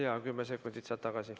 Jaa, kümme sekundit saad tagasi.